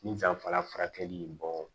Ni danfara furakɛli bɔ